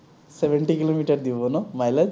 seventy kilometre দিব ন, mileage?